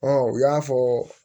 u y'a fɔ